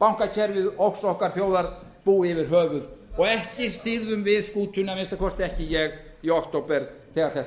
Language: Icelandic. bankakerfið okkar þjóðar búa yfir höfuð og ekki stýrðum við skútunni að minnsta kosti ekki ég í október þegar þetta